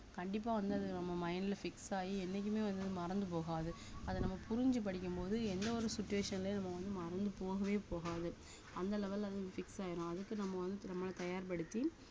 கண்டிப்பா வந்து அது நம்ம mind ல fix ஆயி என்னைக்குமே வந்து மறந்து போகாது அத நம்ம புரிஞ்சு படிக்கும்போது எந்த ஒரு situation லயும் நம்ம வந்து மறந்து போகவே போகாது அந்த level ல அது fix ஆயிரும் அதுக்கு நம்ம வந்து நம்மளை தயார்படுத்தி